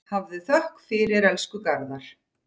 Hafðu þökk fyrir, elsku Garðar.